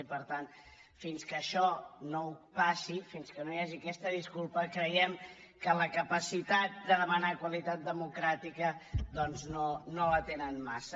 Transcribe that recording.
i per tant fins que això no ho faci fins que no hi hagi aquesta disculpa creiem que la capacitat de demanar qualitat democràtica doncs no la tenen massa